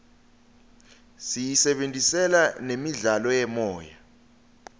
siyisebentisela nemidlalo yemoya